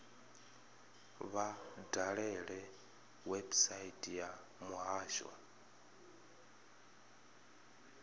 vha dalele website ya muhasho